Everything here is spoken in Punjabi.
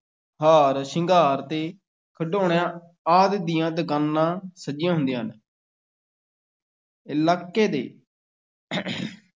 ਹਾਰ ਸ਼ਿੰਗਾਰ ਤੇ ਖਿਡੌਣਿਆਂ ਆਦਿ ਦੀਆਂ ਦੁਕਾਨਾਂ ਸਜੀਆਂ ਹੁੰਦੀਆਂ ਹਨ ਇਲਾਕੇ ਦੇ